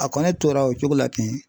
A kɔni tora o cogo la ten